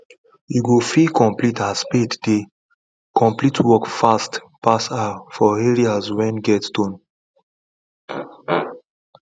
you go feel complete as spade dey complete work fast pass her for areas wen get stone